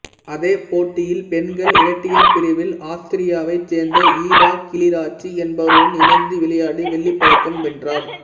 அதே போட்டியில் பெண்கள் இரட்டையர் பிரிவில் ஆஸ்திரியாவைச் சேர்ந்த ஹிடா கிளிறாட்சி என்பவருடன் இணைந்து விளையாடி வெள்ளிப் பதக்கம் வென்றார்